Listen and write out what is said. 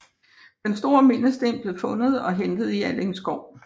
Den store mindesten blev fundet og hentet i Alling Skov